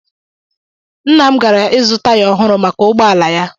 Nna m gara ịzụ taya ọhụrụ maka ụgbọ ala ya